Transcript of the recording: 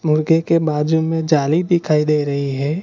मुर्गे के बाजू में जाली दिखाई दे रही है।